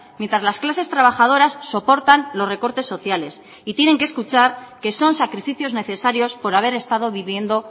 mientras las clases trabajadoras soportan los recortes sociales y tienen que escuchar que son sacrificios necesarios por haber estado viviendo